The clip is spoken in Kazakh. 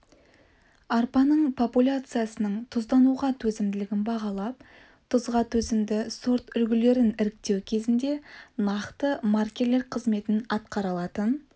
арпаның популяциясының тұздануға төзімділігін бағалап тұзға төзімді сорт үлгілерін іріктеу кезінде нақты маркерлер қызметін атқара алатын